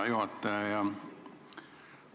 Hea juhataja!